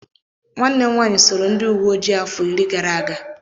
Nwanne m nwaanyị sooro ndị uwe ojii afọ iri gara aga.